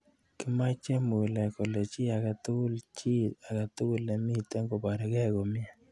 Kimochei Mulee kole chii age tugul chii agetugul ne miten koboriekei komie.